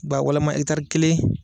Ba walama ɛkitari kelen